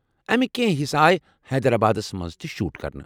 امِکۍ کٮ۪نٛہہ حصہٕ آیہ حیدر آبادس منٛز تہِ شوٗٹ کرنہٕ۔